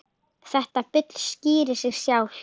Þetta bull skýrir sig sjálft.